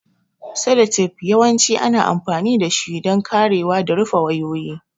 Seletep yawanci ana amfani dashi don karewa da rufe wayoyi.